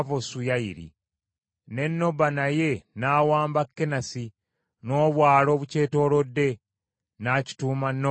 Ne Noba naye n’awamba Kenasi n’obwalo obukyetoolodde, n’akituuma Noba erinnya lye.